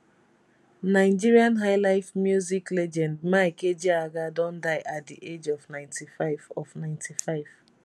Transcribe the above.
nigeria highlife music legend mike ejeagha don die at di age of 95 of 95